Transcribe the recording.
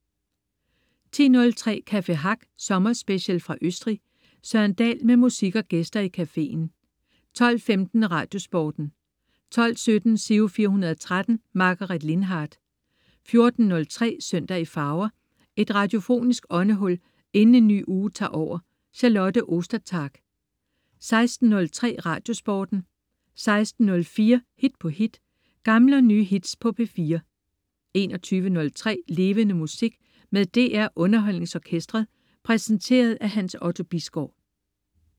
10.03 Café Hack sommerspecial fra Østrig. Søren Dahl med musik og gæster i cafeen 12.15 Radiosporten 12.17 Giro 413. Margaret Lindhardt 14.03 Søndag i farver. Et radiofonisk åndehul inden en ny uge tager over. Charlotte Ostertag 16.03 Radiosporten 16.04 Hit på hit. Gamle og nye hits på P4 21.03 Levende Musik med DR UnderholdningsOrkestret. Præsenteret af Hans Otto Bisgaard